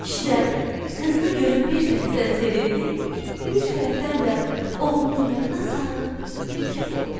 Kişi də qızını görüb bir tərəfdən sevindi, bir tərəfdən də oğlunu yadına salıb bikif oldu.